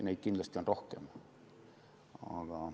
Neid on kindlasti rohkem.